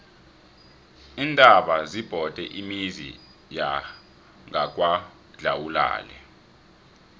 iintaba zibhode imizi yangakwadlawulale